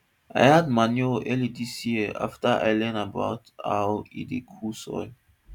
i add manure early this year after i learn about how e dey cool soil